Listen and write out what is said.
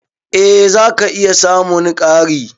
Eh zaka iya samun ƙari.